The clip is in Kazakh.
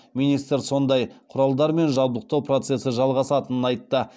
министр сондай құралдармен жабдықтау процесі жалғасатынын айтты